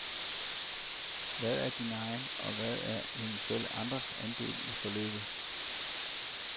Hvad er din egen, og hvad er eventuelle andres andel i forløbet?